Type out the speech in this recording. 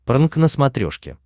прнк на смотрешке